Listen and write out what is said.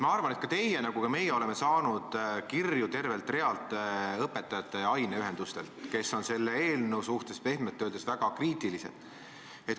Ma arvan, et ka teie – nagu meiegi – olete saanud kirju tervelt realt õpetajate aineühendustelt, kes on selle eelnõu suhtes pehmelt öeldes väga kriitilised.